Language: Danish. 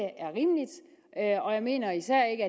er rimeligt og jeg mener især ikke